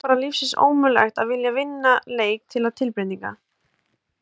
Er þér bara lífsins ómögulegt að vilja að vinna leik til tilbreytingar!?